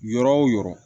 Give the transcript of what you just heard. Yɔrɔ o yɔrɔ